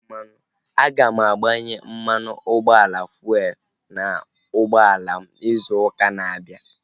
Aga m agbanye mmanụ ụgbọala fuelu n'ụgbọala m izu ụka na-abịa